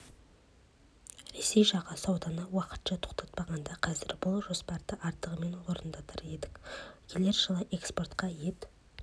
ресей жағы сауданы уақытша тоқтатпағанда қазір бұл жоспарды артығымен орындар едік келер жылы экспортқа ет